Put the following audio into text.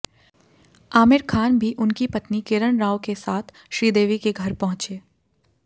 आमिर खान भी उनकी पत्नी किरण राव के साथ श्रीदेवी के घर पहुंचे